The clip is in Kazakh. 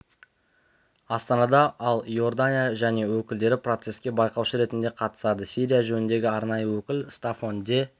астанада ал иордания және өкілдері процеске байқаушы ретінде қатысады сирия жөніндегі арнайы өкіл стаффан де